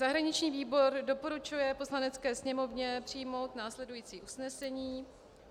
Zahraniční výbor doporučuje Poslanecké sněmovně přijmout následující usnesení.